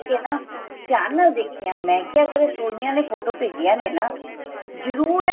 ਨਾ ਧਿਆਨ ਨਾਲ ਦੇਖੀਆਂ ਮੈਂ ਕਿਹਾ ਅਗਰ ਇਹ ਸੋਨੀਆ ਨੇ ਫੋਟੋਆਂ ਭੇਜੀਆਂ ਨੇ ਨਾ ਜਰੂਰ